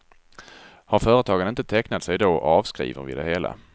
Har företagen inte tecknat sig då, avskriver vi det hela.